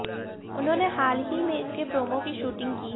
उन्होंने हाल ही में इसके प्रोमो की शूटिंग की है